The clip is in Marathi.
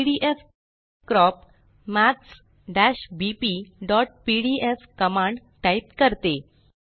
पीडीएफक्रॉप maths bpपीडीएफ कमांड टाइप करते